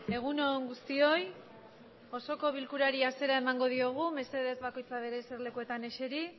egun on guztioi osoko bilkurari hasiera emango diogu esisere bakoitza suen eserlekuetan